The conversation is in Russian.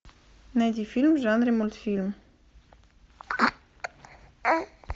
найди фильм в жанре мультфильм